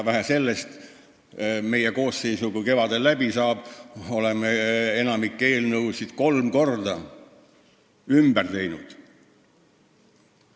Vähe sellest, meie koosseis, mille aeg järgmisel kevadel läbi saab, on enamikku eelnõusid kolm korda ümber teinud.